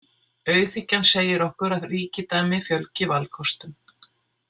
Auðhyggjan segir okkur að ríkidæmi fjölgi valkostum.